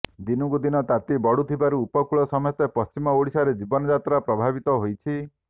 ଦିନକୁ ଦିନ ତାତି ବଢ଼ୁଥିବାରୁ ଉପକୂଳ ସମେତ ପଶ୍ଚିମ ଓଡ଼ିଶାରେ ଜୀବନ ଯାତ୍ରା ପ୍ରଭାବିତ ହୋଇଛି